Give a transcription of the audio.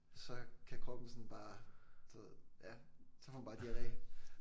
Så kan kroppen bare sådan du ved ja. Så får man bare diarre